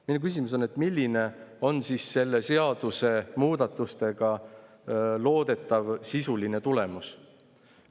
Minu küsimus on, milline on siis selle seaduse muudatustega loodetav sisuline tulemus.